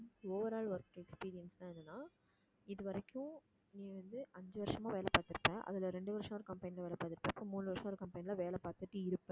overall work experience ன்னா என்னன்னா இதுவரைக்கும் நீ வந்து அஞ்சு வருஷமா வேலை பார்த்திருப்ப, அதில ரெண்டு வருஷம் ஒரு company ல வேலை பார்த்திருப்ப, மூணு வருஷம் ஒரு company ல வேலை பார்த்துட்டு இருப்ப